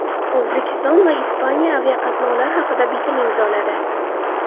O‘zbekiston va Ispaniya aviaqatnovlar haqida bitim imzoladi.